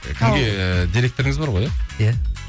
і кімге директорыңыз бар ғой иә иә